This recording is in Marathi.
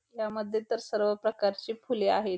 यामध्ये तर सर्व प्रकारचे फुले आहेत.